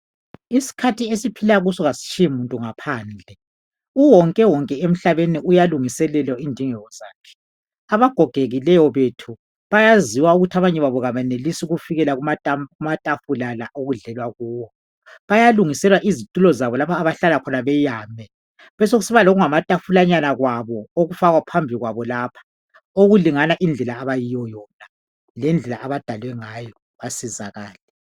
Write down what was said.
Isikhathi esiphila kuso asitshiyi muntu ngaphandle. Uwonkewonke emhlabeni uyalungiselelwa indingeko zakhe. Abagogekileyo bethu bayaziwa ukuthi abanye babo abenelisi ukufikela kumatafula la okudlalelwa kuwo bayalungiselwa izitulo zabo lapho abahlala khona beyame. Besekusiba lokungamatafulanyana kwabo, okufakwa phambi kwabo lapha okulingana indlela abayiyo yona lendlela abadalwe ngayo basizakale.